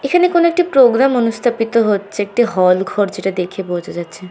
এখানে কোনো একটি প্রোগ্রাম অনুষ্ঠাপিত হচ্ছে একটি হল ঘর যেটা দেখে বোঝা যাচ্ছে।